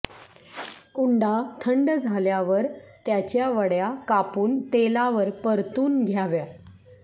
उंडा थंड झाल्यावर त्याच्या वड्या कापून तेलावर परतून घ्याव्या